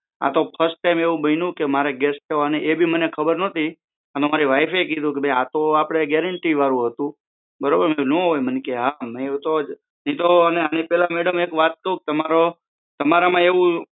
આતો first time એવું બન્યું કે મારે ગેસ સ્ટોવ અને એ બી મને ખબર નહોતી મને મારી વાઈફ એ એવું કીધું કે ભાઈ આતો આપડે ગેરંટીવાળું હતું બરોબર મેં કીધું ના હોઈ અને આની પહેલા એક વાત કહું તમારામાં